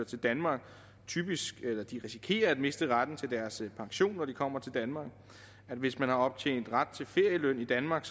til danmark risikerer at miste retten til deres pension når de kommer til danmark og hvis man har optjent ret til feriepenge i danmark